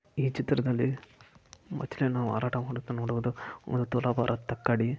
ಚಿತ್ರದಲ್ಲಿ ಮಾಚಯ್ಯನ ಮಾರಾಟ ಮಾಡುತ್ತಿರುವುದನ್ನು ನಾವು ಕಾಣಬಹುದು